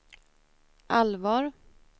allvar